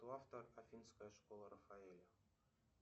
кто автор афинская школа рафаэля